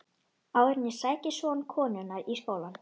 Áður en ég sæki son konunnar í skólann.